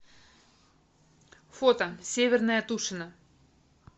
фото северное тушино